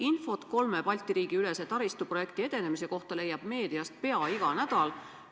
Infot kolme Balti riigi ülese taristu projekti edenemise kohta leiab meediast pea iga nädal.